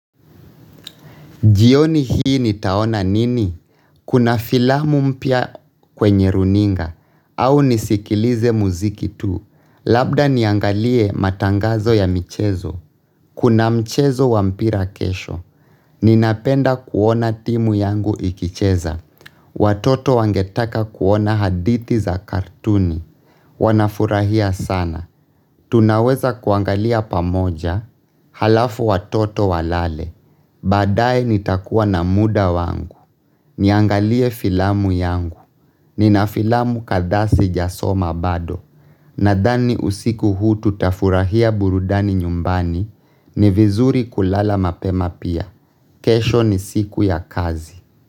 Jioni hii nitaona nini? Kuna filamu mpya kwenye runinga. Au nisikilize muziki tu. Labda niangalie matangazo ya michezo. Kuna mchezo wa mpira kesho. Ninapenda kuona timu yangu ikicheza. Watoto wangetaka kuona hadithi za kartuni. Wanafurahia sana. Tunaweza kuangalia pamoja halafu watoto walale. Baadaye nitakuwa na muda wangu. Niangalie filamu yangu. Nina filamu kadhaa sijasoma bado. Nadhani usiku huu tutafurahia burudani nyumbani ni vizuri kulala mapema pia. Kesho ni siku ya kazi.